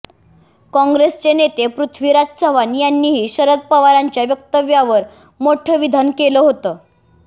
काँग्रेसचे नेते पृथ्वीराज चव्हाण यांनीही शरद पवारांच्या वक्तव्यावर मोठं विधान केलं होतं